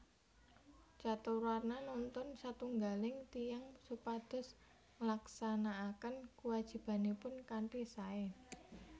Caturwarna nuntun satunggaling tiyang supados nglaksanakaken kuwajibanipun kanthi sae